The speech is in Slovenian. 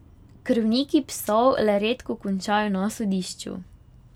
Krvniki psov le redko končajo na sodišču.